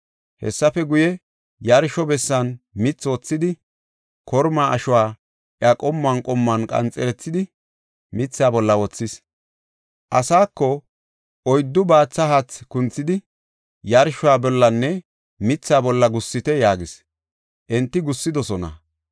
Hessafe guye, yarsho bessan mithi wothidi, kormaa ashuwa iya qommuwan qommuwan qanxerethidi, mithaa bolla wothis. Asaako, “Oyddu baathe haathe kunthidi, yarshuwa bollanne mithaa bolla gussite” yaagis; enti gussidosona.